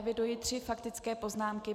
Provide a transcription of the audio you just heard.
Eviduji tři faktické poznámky.